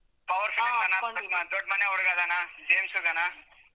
Power ದೊಡ್ಮನೆ ಹುಡುಗ ಅದಾನ, ಜೇಮ್ಸ್ ಅದಾನ.